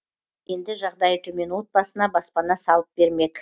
енді жағдайы төмен отбасына баспана салып бермек